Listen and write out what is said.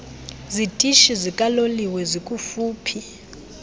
zitishi zikaloliwe zikufuphi